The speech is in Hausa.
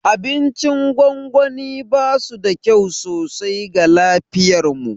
Abincin gwangwani basu da kyau sosai ga lafiyarmu.